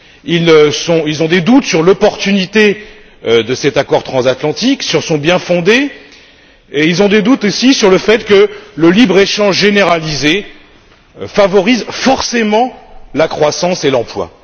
Ils ont des doutes sur l'opportunité de cet accord transatlantique, sur son bien fondé et ils ont des doutes aussi sur le fait que le libre échange généralisé favorise forcément la croissance et l'emploi.